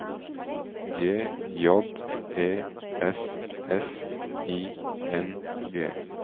G J E S S I N G